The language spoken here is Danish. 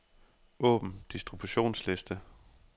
Åbn distributionsliste.